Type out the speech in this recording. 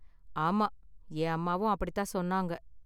ஆமா, என் அம்மாவும் அப்படி தான் சொன்னாங்க.